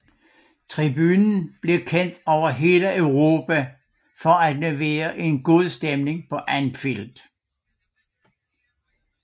Tribunen blev kendt over hele Europa for at levere en god stemning på Anfield